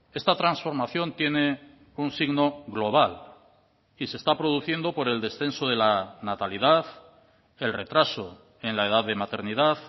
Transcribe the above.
esta transformación tiene un signo global y se está produciendo por el descenso de la natalidad el retraso en la edad de maternidad